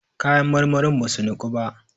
kayan marmarin ba su Niku ba?